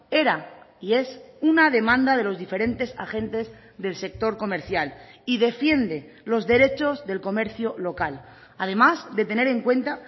era y es una demanda de los diferentes agentes del sector comercial y defiende los derechos del comercio local además de tener en cuenta